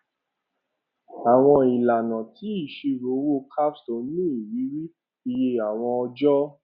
àwọn ìlànà ti ìṣirò owó capstone ní ìrírí iye àwọn ọjọ